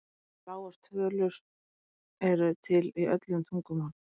Heiti fyrir lágar tölur eru til í öllum tungumálum.